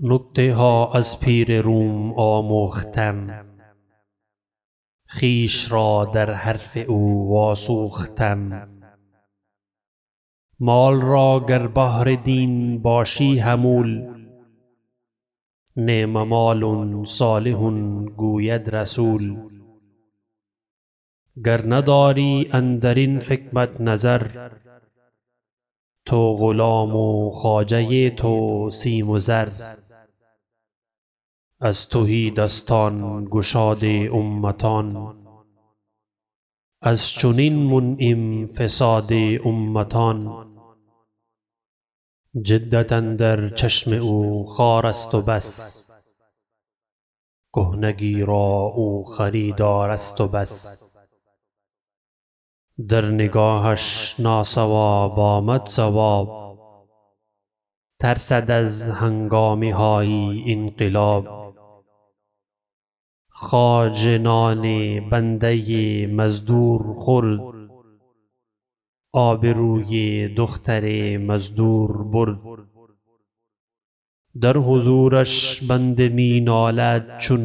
نکته ها از پیر روم آموختم خویش را در حرف او واسوختم مال را گر بهر دین باشی حمول نعم مال صالح گوید رسول رومی گر نداری اندر این حکمت نظر تو غلام و خواجه تو سیم و زر از تهی دستان گشاد امتان از چنین منعم فساد امتان جدت اندر چشم او خوار است و بس کهنگی را او خریدار است و بس در نگاهش ناصواب آمد صواب ترسد از هنگامه های انقلاب خواجه نان بنده مزدور خورد آبروی دختر مزدور برد در حضورش بنده می نالد چو